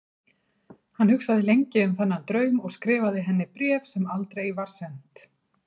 Hann hugsaði lengi um þennan draum og skrifaði henni bréf, sem aldrei var sent.